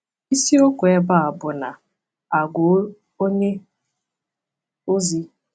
Isi okwu ebe a bụ na àgwà onye ozi.